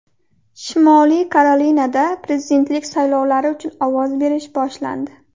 Shimoliy Karolinada prezidentlik saylovlari uchun ovoz berish boshlandi.